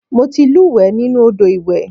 Mo ti lúùwẹ́ nínú Odò iwè.